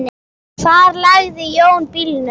Hvar lagði Jón bílnum?